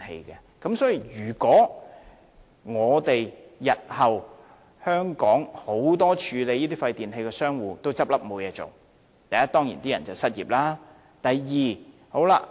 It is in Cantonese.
日後，如果香港眾多處理廢電器的商戶也倒閉，第一個問題是從業員會失業。